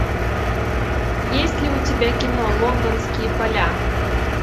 есть ли у тебя кино лондонские поля